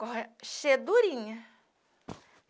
Cheia durinha.